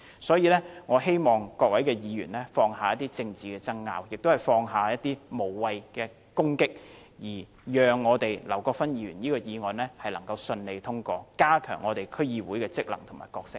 所以，我希望各位議員放下政治爭拗，也放下無謂的攻擊，讓劉國勳議員這項議案能順利獲得通過，以加強區議會的職能和角色。